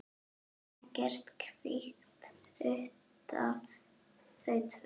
Ekkert kvikt utan þau tvö.